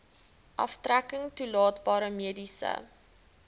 aftrekking toelaatbare mediese